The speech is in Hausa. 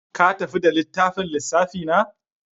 Ka tafi da littafin lissafi na?